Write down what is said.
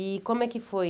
E como é que foi?